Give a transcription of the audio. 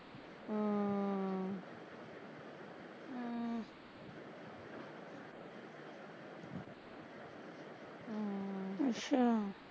ਹਮ ਅੱਛਾ